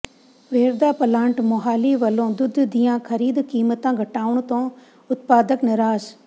Verka plant Mohali ਵਲੋਂ ਦੁੱਧ ਦੀਆਂ ਖ਼ਰੀਦ ਕੀਮਤਾਂ ਘਟਾਉਣ ਤੋਂ ਉਤਪਾਦਕ ਨਿਰਾਸ਼